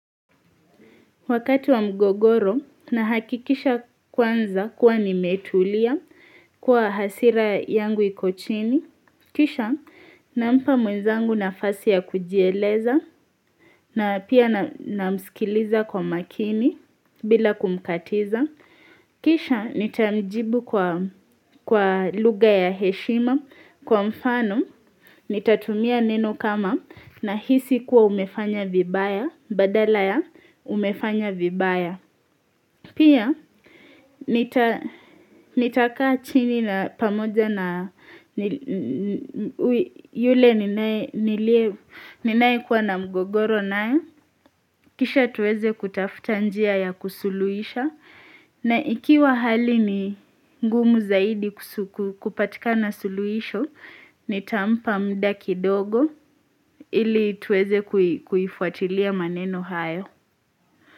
Wakati wa mgogoro. Nahakikisha kwanza, kuwa nimetulia, kuwa hasira yangu iko chini. Kisha, nampa mwenzangu nafasi ya kujieleza na pia namsikiliza kwa makini. Bila kumkatiza. Kisha nitamjibu kwa lugha ya heshima. Kwa mfano, nitatumia neno kama. Nahisi kuwa umefanya vibaya, badala ya umefanya vibaya. Pia, nitakaa chini na pamoja na yule ninaye, niliye, ninaye kuwa na mgogoro naye. Kisha tuweze kutafuta njia ya kusuluisha. Na ikiwa hali ni ngumu zaidi kupatikana suluisho. Nitampa muda kidogo ili tuweze kuifuatilia maneno hayo.